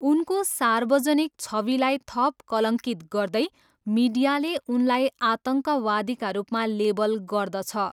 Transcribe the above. उनको सार्वजनिक छविलाई थप कलङ्कित गर्दै, मिडियाले उनलाई आतङ्कवादीका रूपमा लेबल गर्दछ।